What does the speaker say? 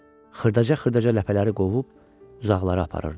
xırdaca-xırdaca ləpələri qovub uzaqlara aparırdı.